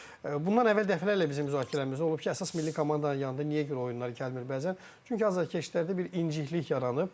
Bundan əvvəl dəfələrlə bizim müzakirəmiz olub ki, əsas milli komandanın yanında niyə görə oyunlar gəlmir bəzən, çünki azarkeşlərdə bir inciklik yaranıb.